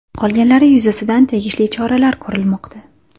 Qolganlari yuzasidan tegishli choralar ko‘rilmoqda.